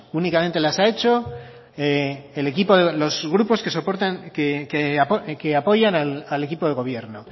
únicamente las he hecho los grupos que apoyan al equipo de gobierno